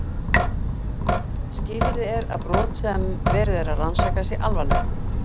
skilyrði er að brot sem verið er að rannsaka sé alvarlegt